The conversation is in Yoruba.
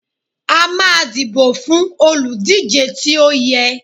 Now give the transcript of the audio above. a ma dibo fún olúdije tí o yẹ